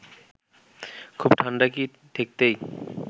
খুব ঠান্ডা কি ঠেকতেই